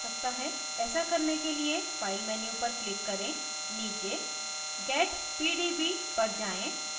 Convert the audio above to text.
ऐसा करने के लिए file menu पर click करें नीचे get pdb पर जाएँ